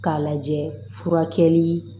K'a lajɛ furakɛli